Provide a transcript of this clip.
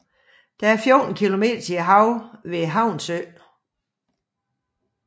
Der er 14 kilometer til havet ved Havnsø